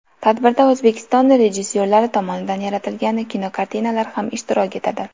Tadbirda O‘zbekiston rejissyorlari tomonidan yaratilgan kinokartinalar ham ishtirok etadi.